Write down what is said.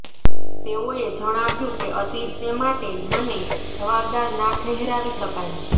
તેઓએ જણાવ્યું કે અતીતને માટે મને જવાબદાર ના ઠહેરાવી શકાય